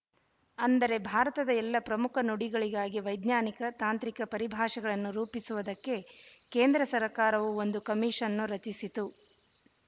ಅಂದರೆ ಭಾರತದ ಎಲ್ಲ ಪ್ರಮುಖ ನುಡಿಗಳಿಗಾಗಿ ವೈಜ್ಞಾನಿಕ ತಾಂತ್ರಿಕ ಪರಿಭಾಷೆಗಳನ್ನು ರೂಪಿಸುವುದಕ್ಕೆ ಕೇಂದ್ರ ಸರಕಾರವು ಒಂದು ಕಮಿಷನ್ನು ರಚಿಸಿತು